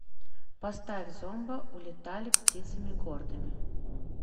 поставь зомба улетали птицами гордыми